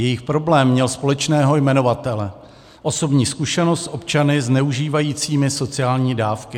Jejich problém měl společného jmenovatele: osobní zkušenost s občany zneužívajícími sociální dávky.